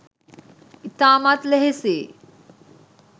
ඉතාමත් ලෙහෙසියි.